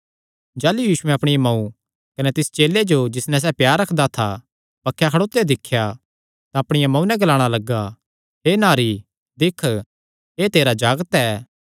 जाह़लू यीशुयैं अपणिया मांऊ कने तिस चेले जो जिस नैं सैह़ प्यार रखदा था बक्खे खड़ोत्यो दिख्या तां अपणिया मांऊ नैं ग्लाणा लग्गा हे नारी दिक्ख एह़ तेरा जागत ऐ